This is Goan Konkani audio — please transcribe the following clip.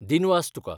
दिनवास तुका.